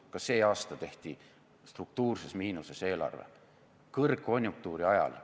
Ka see aasta tehti struktuurses miinuses eelarve, kõrgkonjunktuuri ajal.